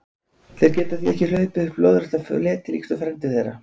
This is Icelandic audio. Þeir geta því ekki hlaupið upp lóðrétta fleti líkt og frændur þeirra.